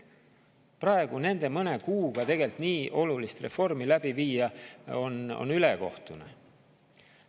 Praegu mõne kuuga nii olulist reformi läbi viia on tegelikult ülekohtune.